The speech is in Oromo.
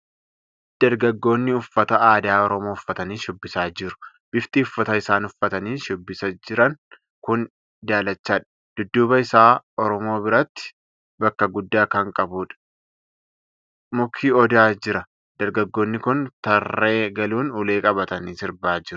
Dargaggoonni uffata aadaa Oromoo uffatanii shubbisaa jiru. Bifti uffata isaan uffatanii shubbisaa jiran kuni daalachadha. Dudduuba isaa Oromoo biratti bakka guddaa kan qabu muki Odaa jira. Dargaggoonni kun taree galuun ulee qabatanii sirbaa jiru.